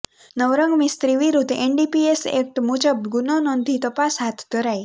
નવરંગ મિસ્ત્રી વિરુદ્ધ NDPS act મુજબ ગુનો નોંધી તપાસ હાથ ધરાઇ